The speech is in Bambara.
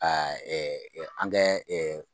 Ɛɛ an ka ɛ